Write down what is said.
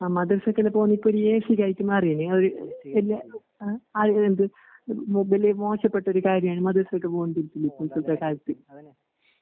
അമദ്രസൊക്കെപോണി പിള്ളേഴ്സ് വാചാരിക്കുന്നറിയൂല്ലെ ആഒരു ചെറിയ ആഒരു വൽത് മൊബില് മോശപ്പെട്ടകാര്യാണ്‌ മദ്രസയിലോട്ട്പോന്നത് ഇപ്പുള്ത്തത്തെ കാലത്ത്.